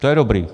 To je dobrý.